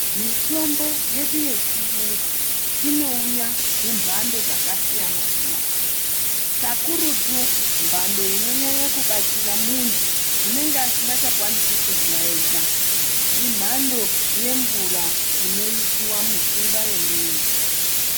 Mitombo yedu yechiyungu, inouya mumbando dzakasiyana-siyana, kakurutu mbando inonyanya kubatsira muntu unenge asingachakwanisi kudya ega, imhando yemvura inoyisiwa mutsinga yemuntu.